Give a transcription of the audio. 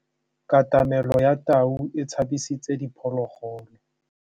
Katamêlô ya tau e tshabisitse diphôlôgôlô.